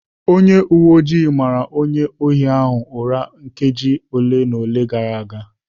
Onye uwe ojii mara onye ohi ahụ ụra nkeji ole na ole gara aga